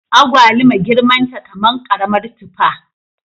Agwaluma girman ta kaman karamar tufa